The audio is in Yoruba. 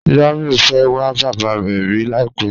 Jamiu fẹ́ wà bàbá rẹ̀ rí làìpẹ̀